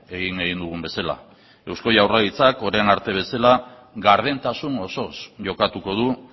egin egin dugun bezala eusko jaurlaritzak orain arte bezala gardentasun osoz jokatuko du